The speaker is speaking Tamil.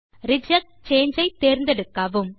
ரிஜெக்ட் சாங்கே ஐ தேர்ந்தெடுக்கவும்